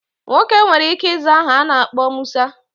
Nwoke nwere ike iza aha ana akpo Musa.